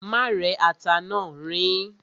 Má rẹ́ ata náà, riín.